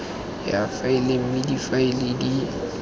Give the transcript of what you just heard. ya faele mme difaele di